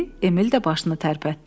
Emil də başını tərpətdi.